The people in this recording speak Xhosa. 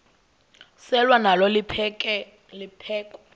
selwa nalo liphekhwe